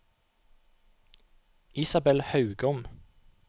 Isabel Haugom